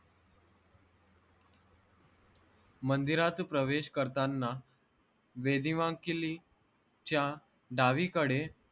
मंदिरात प्रवेश करतांना वेदीवांकिलीच्या डावीकडे